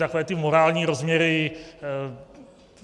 Takové ty morální rozměry.